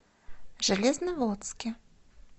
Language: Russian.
железноводске